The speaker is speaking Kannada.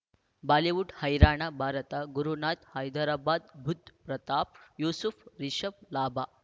ಬಾಲಿವುಡ್ ಹೈರಾಣ ಭಾರತ ಗುರುನಾಥ್ ಹೈದರಾಬಾದ್ ಬುಧ್ ಪ್ರತಾಪ್ ಯೂಸುಫ್ ರಿಷಬ್ ಲಾಭ